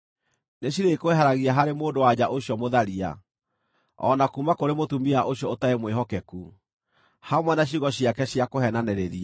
nĩcirĩkweheragia harĩ mũndũ-wa-nja ũcio mũtharia, o na kuuma kũrĩ mũtumia ũcio ũtarĩ mwĩhokeku, hamwe na ciugo ciake cia kũheenanĩrĩria.